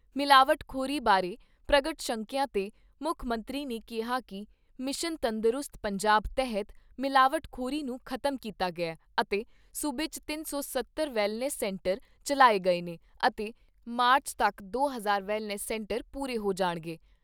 ਮਿਲਾਵਟਖੋਰੀ ਬਾਰੇ ਪ੍ਰਗਟ ਸ਼ੰਕਿਆ 'ਤੇ ਮੁੱਖ ਮੰਤਰੀ ਨੇ ਕਿਹਾ ਕਿ ਮਿਸ਼ਨ ਤੰਦਰੁਸਤ ਪੰਜਾਬ ਤਹਿਤ ਮਿਲਾਵਟ ਖੋਰੀ ਨੂੰ ਖ਼ਤਮ ਕੀਤਾ ਗਿਆ ਅਤੇ ਸੂਬੇ 'ਚ ਤਿੰਨ ਸੌ ਸੱਤਰ ਵੈਲਨੈੱਸ ਸੈਂਟਰ ਚੱਲਾਏ ਗਏ ਨੇ ਅਤੇ ਮਾਰਚ ਤੱਕ ਦੋ ਹਜ਼ਾਰ ਵੈਲਨੈੱਸ ਸੈਂਟਰ ਪੂਰੇ ਹੋ ਜਾਣਗੇ।